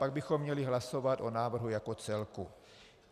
Pak bychom měli hlasovat o návrhu jako celku.